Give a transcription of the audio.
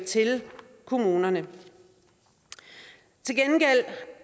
til kommunerne til gengæld